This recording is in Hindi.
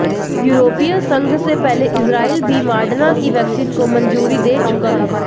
यूरोपीय संघ से पहले इस्राइल भी मॉडर्ना की वैक्सीन को मंजूरी दे चुका है